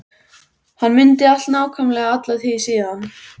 Hann mundi allt nákvæmlega alla tíð síðan.